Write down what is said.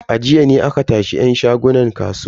A jiya ne aka tashi yan shagunan kasuwa.